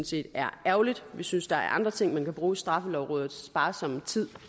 set er ærgerligt vi synes der er andre ting man kan bruge straffelovrådets sparsomme tid